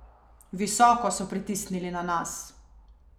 Visoko so pritisnili na nas.